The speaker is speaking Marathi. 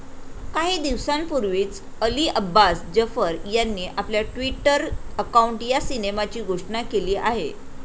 काही दिवसांपूर्वीच अली अब्बास जफर यांनी आपल्या ट्विटर अकाऊंट या सिनेमाची घोषणा केली आहे.